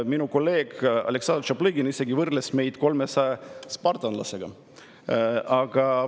Minu kolleeg Aleksandr Tšaplõgin isegi võrdles meid 300 spartalasega.